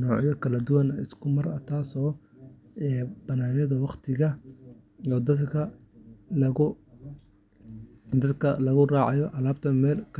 noocyo kala duwan oo isku mar ah, taasoo badbaadineysa waqtiga iyo dadaalka lagu raadinayo alaabta meelo kala duwan.